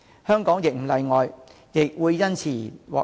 香港亦不例外，亦會因而獲益。